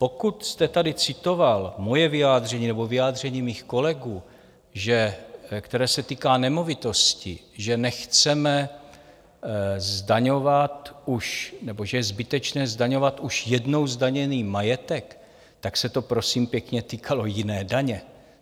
Pokud jste tady citoval moje vyjádření nebo vyjádření mých kolegů, které se týká nemovitostí, že je zbytečné zdaňovat už jednou zdaněný majetek, tak se to, prosím pěkně, týkalo jiné daně.